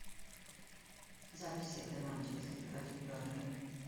запись игры манчестер против бернли